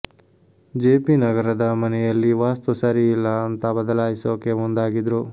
JP ನಗರದ ಮನೆಯಲ್ಲಿ ವಾಸ್ತು ಸರಿ ಇಲ್ಲ ಅಂತಾ ಬದಲಾಯಿಸೋಕೆ ಮುಂದಾಗಿದ್ರು